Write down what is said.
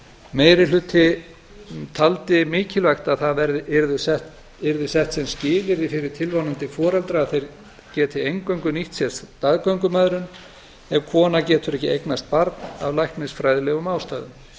meiri hlutinn taldi mikilvægt að það yrði sett sem skilyrði fyrir tilvonandi foreldra að þeir geti eingöngu nýtt sér staðgöngumæðrun ef kona getur ekki eignast barn af læknisfræðilegum ástæðum